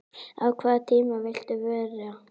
á hvaða tíma viltu vera?